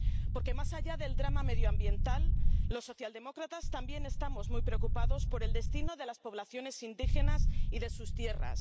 Porque, más allá del drama medioambiental, los socialdemócratas también estamos muy preocupados por el destino de las poblaciones indígenas y de sus tierras.